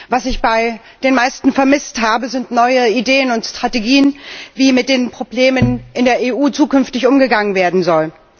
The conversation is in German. Was ich bei den meisten vermisst habe, sind neue Ideen und Strategien, wie mit den Problemen in der EU zukünftig umgegangen werden soll.